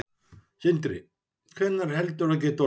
Sindri: Hvenær heldurðu að það geti orðið?